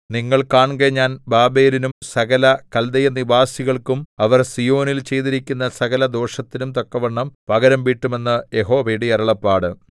നിങ്ങൾ കാൺകെ ഞാൻ ബാബേലിനും സകല കല്ദയനിവാസികൾക്കും അവർ സീയോനിൽ ചെയ്തിരിക്കുന്ന സകലദോഷത്തിനും തക്കവണ്ണം പകരംവീട്ടും എന്ന് യഹോവയുടെ അരുളപ്പാട്